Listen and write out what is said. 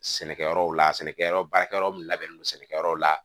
Sɛnɛkɛyɔrɔw la sɛnɛkɛyɔrɔ baarakɛyɔrɔ labɛnnen don sɛnɛkɛyɔrɔ la